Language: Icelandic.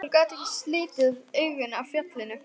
Hún gat ekki slitið augun af fjallinu.